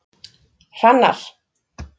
Hrannar